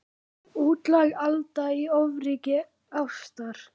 Útlæg Alda í ofríki ástar.